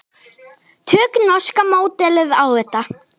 Tökum norska módelið á þetta.